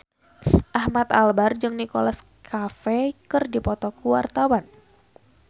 Ahmad Albar jeung Nicholas Cafe keur dipoto ku wartawan